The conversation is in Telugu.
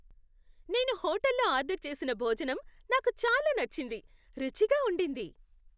నేను హోటల్లో ఆర్డర్ చేసిన భోజనం నాకు చాలా నచ్చింది. రుచిగా ఉండింది!